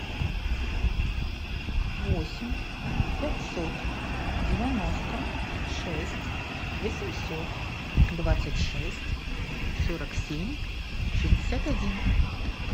восемь пятьсот девяносто шесть восемьсот двадцать шесть сорок семь шестьдесят один